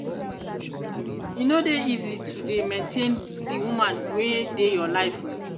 e no dey easy to dey maintain di woman wey dey your life o.